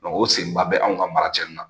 o senba bɛ anw ka maraci nin na